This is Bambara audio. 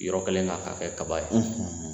Yɔrɔ kɛlen k'a kɛ kaba ye